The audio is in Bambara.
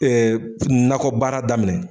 nakɔbaara daminɛ